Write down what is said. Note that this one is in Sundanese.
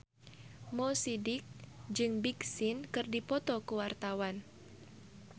Mo Sidik jeung Big Sean keur dipoto ku wartawan